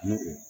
N'o